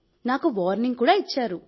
నాకు వార్నింగ్ కూడా ఇచ్చారు